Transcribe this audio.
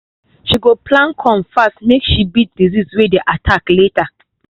she go plant corn fast make she beat disease way dey attack late